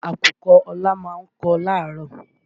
Àkùkọ Ọlá ma ń kọ láàárọ̀.